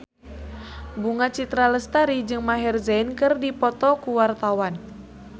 Bunga Citra Lestari jeung Maher Zein keur dipoto ku wartawan